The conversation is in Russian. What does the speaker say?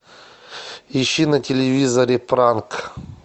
ищи на телевизоре пранк